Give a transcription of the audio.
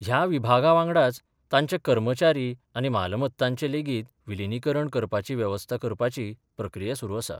ह्या विभागा वांगडाच तांचे कर्मचारी आनी मालमत्तांचे लेगीत विलीनीकरण करपाची वेवस्था करपाची प्रक्रिया सुरू आसा.